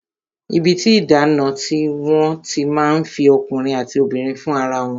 Ibi tí ìdáná ni wọ́n ti máa ń fi ọkùnrin àti obìnrin fún ara wọn